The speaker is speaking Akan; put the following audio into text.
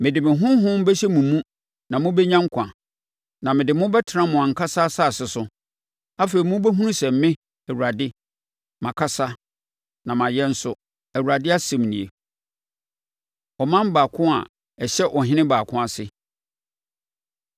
Mede me Honhom bɛhyɛ mo mu na mobɛnya nkwa, na mede mo bɛtena mo ankasa asase so. Afei mobɛhunu sɛ me, Awurade na makasa na mayɛ nso, Awurade asɛm nie.’ ” Ɔman Baako A Ɛhyɛ Ɔhene Baako Ase